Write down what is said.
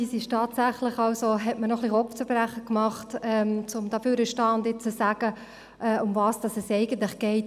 Es hat mir etwas Kopfzerbrechen bereitet, hier hinzustehen und zu sagen, worum es eigentlich geht.